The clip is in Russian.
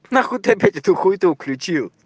нахуй ты опять эту хуету включил